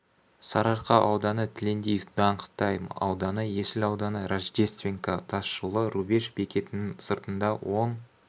сарыарқа ауданы тілендиев даңғ тайм ауданы есіл ауданы рождественка тас жолы рубеж бекетінің сыртында оң